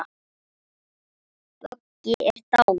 Böggi er dáinn.